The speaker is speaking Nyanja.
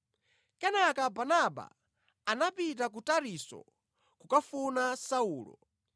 Kenaka Barnaba anapita ku Tarisisi kukafuna Saulo,